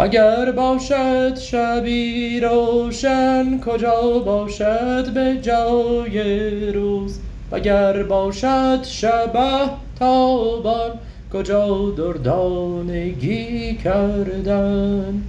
اگر باشد شبی روشن کجا باشد به جای روز وگر باشد شبه تابان کجا دردانگی کردن